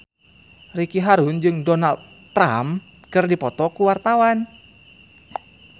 Ricky Harun jeung Donald Trump keur dipoto ku wartawan